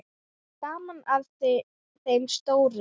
Gaman að þeim stóru.